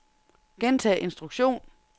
gentag instruktion